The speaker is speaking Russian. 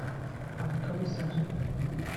анатолий сажин